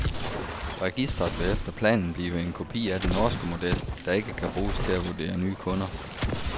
Registeret vil efter planen blive en kopi af den norske model, der ikke kan bruges til at vurdere nye kunder.